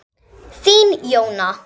Þín Jóna.